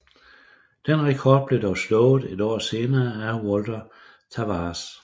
Den rekord blev dog slået et år senere af Walter Tavares